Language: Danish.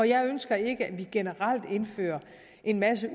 jeg ønsker ikke at vi generelt indfører en masse